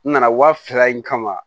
N nana wa fila in kama